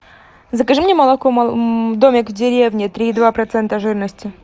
закажи мне молоко домик в деревне три и два процента жирности